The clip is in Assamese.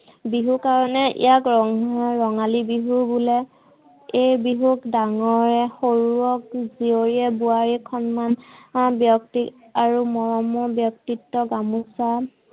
বিহু কাৰনে ইয়াক ৰঙা ৰঙালী বিহু বোলে। এই বিহুক ডাঙৰে সৰুক জিয়ৰীয়ে বোৱাৰীয়েক সন্মান, ব্যক্তি আৰু মৰমৰ ব্যক্তিত্তক গামোছা